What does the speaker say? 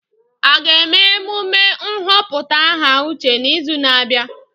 A ga-eme emume nhọpụta aha Uche n'izu na-abịa?